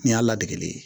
Nin y'a ladege ye